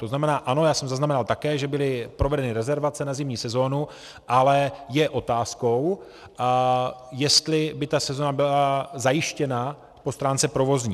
To znamená, ano, já jsem zaznamenal také, že byly provedeny rezervace na zimní sezónu, ale je otázkou, jestli by ta sezóna byla zajištěna po stránce provozní.